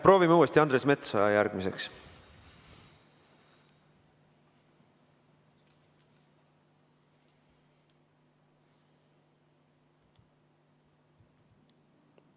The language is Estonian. Proovime uuesti Andres Metsoja järgmiseks.